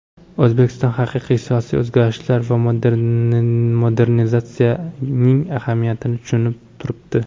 O‘zbekiston haqiqiy siyosiy o‘zgarishlar va modernizatsiyaning ahamiyatini tushunib turibdi.